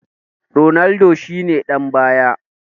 Ronaldo shi ne ɗan baya